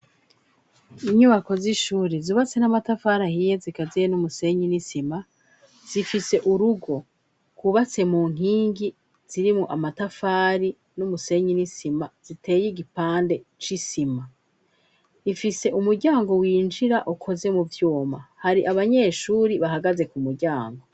Inyubako z'ishuri zubatse n'amatafari ahiye zikazeye n'umusenyin'isima zifise urugo kubatse mu nkingi zirimu amatafari n'umusenyin'isima ziteye igipande c'isima ifise umuryango winjira ukoze mu vyuma hari abanyeshuri bahagaze ku muryango.